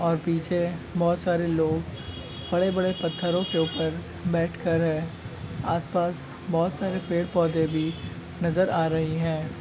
और पीछे बोहोत सारे लोग बड़े-बड़े पत्थरों के ऊपर बैठ कर आसपास बहुत सारे पेड़-पौधे भी नजर आ रहे हैं।